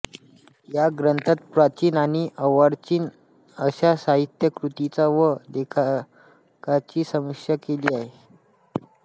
या ग्रंथात प्राचीन आणि अर्वाचीन अशा साहित्यकृतींची व लेखकांची समीक्षा केली आहे